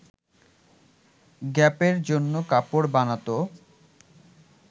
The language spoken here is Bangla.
গ্যাপের জন্য কাপড় বানাতো